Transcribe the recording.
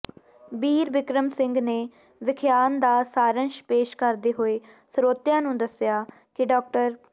ਬੀਰਬਿਕਰਮ ਸਿੰਘ ਨੇ ਵਖਿਆਨ ਦਾ ਸਾਰੰਸ਼ ਪੇਸ਼ ਕਰਦੇ ਹੋਏ ਸਰੋਤਿਆਂ ਨੂੰ ਦੱਸਿਆ ਕਿ ਡਾ